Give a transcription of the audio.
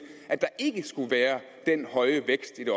at der ikke skulle være den høje vækst i det